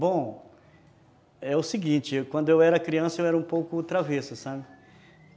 Bom, é o seguinte, quando eu era criança eu era um pouco travesso, sabe?